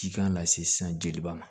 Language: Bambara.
Cikan lase san jeliba ma